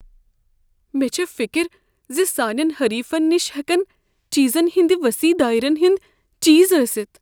مےٚ چھےٚ فکر ز سانٮ۪ن حریفین نش ہیٚکن چیزن ہندِ وصیح دٲیرن ہندِ چیز ٲسِتھ ۔